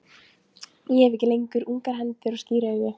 Ég hef ekki lengur ungar hendur og skír augu.